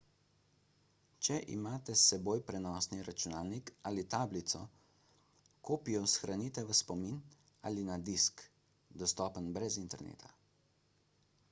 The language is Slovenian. če imate s seboj prenosni računalnik ali tablico kopijo shranite v spomin ali na disk dostopen brez interneta